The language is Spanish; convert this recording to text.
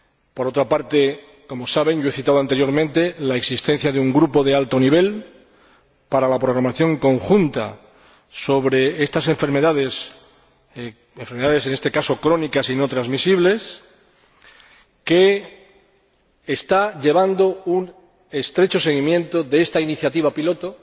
Por otra parte, como saben, he citado anteriormente la existencia de un Grupo de alto nivel para la programación conjunta sobre estas enfermedades, en este caso crónicas y no transmisibles, que está haciendo un estrecho seguimiento de esta iniciativa piloto